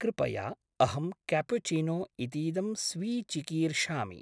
कृपया, अहम् केप्युचिनो इतीदं स्वीचिकीर्षामि।